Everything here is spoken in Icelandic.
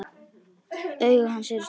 Augu hans eru stór.